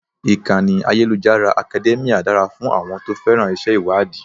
Ìkànnì ayélujára Academia dára fún àwọn tó féràn iṣẹ́ ìwádìí.